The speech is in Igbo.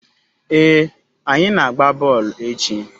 Ee, anyi na-agba boolu echi